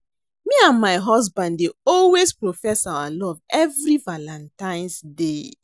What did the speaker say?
Me and my husband dey always profess our love every Valantine's day